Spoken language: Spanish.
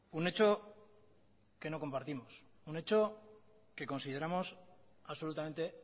un hecho que no compartimos un hecho que consideramos absolutamente